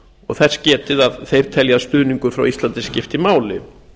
og þess getið að þeir telji að stuðningur frá íslandi skipti máli